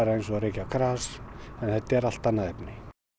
eins og að reykja gras en þetta er allt annað efni